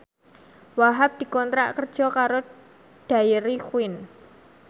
Wahhab dikontrak kerja karo Dairy Queen